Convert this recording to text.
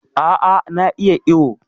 A' a na iya iwo.